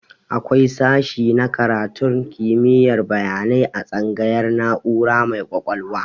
Akwai sashe na karatun kimiyar bayanai a tsangayar na'ura mai ƙwaƙwalwa